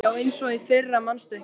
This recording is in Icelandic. Já, eins og í fyrra manstu ekki?